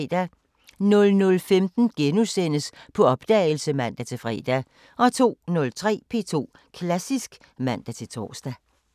00:15: På opdagelse *(man-fre) 02:03: P2 Klassisk (man-tor)